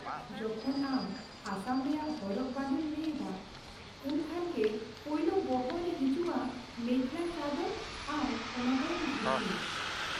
ᱡᱚᱠᱷᱚᱱ ᱟᱢ ᱟᱥᱟᱢ ᱨᱮᱭᱟᱜ ᱦᱚᱨᱚᱜ ᱵᱟᱸᱫᱮᱢ ᱞᱟᱹᱭ ᱮᱫᱟ, ᱩᱱᱠᱷᱟᱱ ᱜᱮ ᱯᱳᱭᱞᱳ ᱵᱚᱦᱚᱜ ᱨᱮ ᱦᱤᱡᱩᱜᱼᱟ ᱢᱮᱠᱷᱞᱟᱼ ᱪᱟᱫᱚᱨ ᱟᱨ ᱚᱱᱟ ᱛᱟᱭᱚᱢ ᱫᱷᱩᱛᱤ ᱾